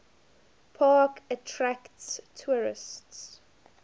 park attract tourists